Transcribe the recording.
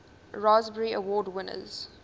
raspberry award winners